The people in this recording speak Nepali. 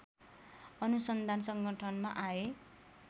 अनुसन्धान संगठनमा आए